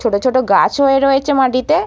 ছোটো ছোটো গাছ হয়ে রয়েছে মাটিতে ।